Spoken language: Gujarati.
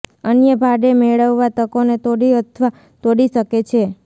અન્ય ભાડે મેળવવાની તકોને તોડી અથવા તોડી શકે છે